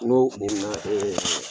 N ko ɛɛ.